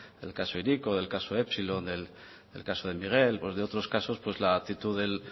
del caso hiriko del caso epsilon del caso de miguel o de otros casos pues la actitud del